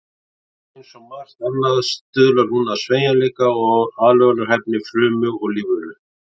Eins og margt annað stuðlar hún að sveigjanleika og aðlögunarhæfni frumu og lífveru.